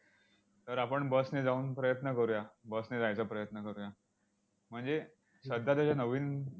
तर आपण bus ने जाऊन प्रयत्न करूया, bus ने जायचा प्रयत्न करूया. म्हणजे सध्या त्याच्या नवीन